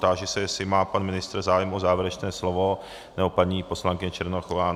Táži se, jestli má pan ministr zájem o závěrečné slovo, nebo paní poslankyně Černochová.